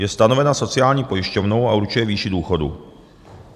Je stanovena sociální pojišťovnou a určuje výši důchodu.